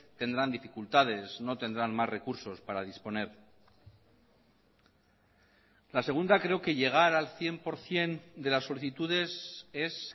tendrán dificultades no tendrán más recursos para disponer la segunda creo que llegar al cien por ciento de las solicitudes es